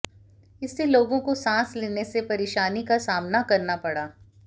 इससे लोगों को सांस लेने में परेशानी का सामना करना पड़ा